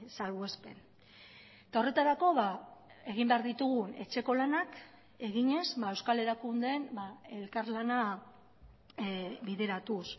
salbuespen eta horretarako egin behar ditugun etxeko lanak eginez euskal erakundeen elkarlana bideratuz